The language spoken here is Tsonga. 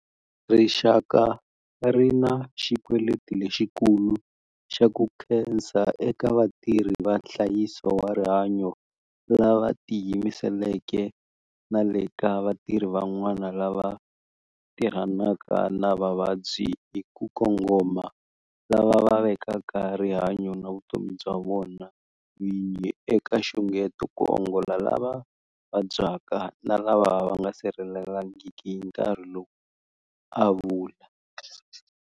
Rixaka ri na xikweleti lexikulu xa ku khensa eka vatirhi va nhlayiso wa rihanyo lava tiyimiseleke na le ka vatirhi van'wana lava tirhanaka na vavabyi hi ku kongoma lava va vekaka rihanyo na vutomi bya vona vini eka nxungeto ku ongola lava vabyaka na lava nga sirhelelekangiki hi nkarhi lowu, a vula.